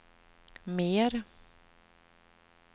mer